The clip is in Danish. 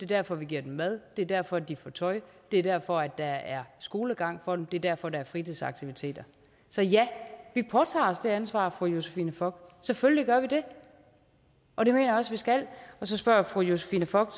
derfor vi giver dem mad det er derfor de får tøj det er derfor der er skolegang for dem det er derfor der er fritidsaktiviteter så ja vi påtager os det ansvar fru josephine fock selvfølgelig gør vi det og det mener jeg også vi skal så spørger fru josephine fock